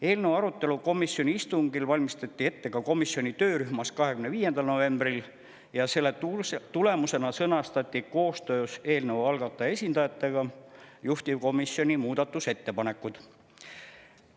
Eelnõu arutelu komisjoni istungil valmistati ette ka komisjoni töörühmas 25. novembril ja selle tulemusena sõnastati koostöös eelnõu algataja esindajatega juhtivkomisjoni muudatusettepanekud.